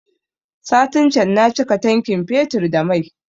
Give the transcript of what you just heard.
Satin can na cika tankin fetur da mai